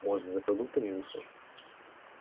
может за продуктами вышла